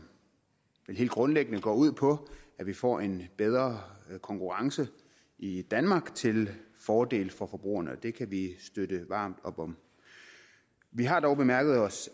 vel helt grundlæggende går ud på at vi får en bedre konkurrence i danmark til fordel for forbrugerne det kan vi støtte varmt op om vi har dog bemærket os